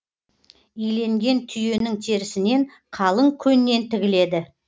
иленген түйенің терісінен қалың көннен тігіледі